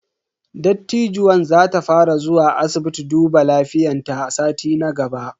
Dattijuwan za ta fara zuwa asibiti duba lafiyan ta a sati na gaba.